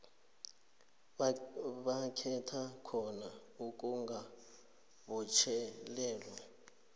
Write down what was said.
bakhetha khona ukungabotjhelelwa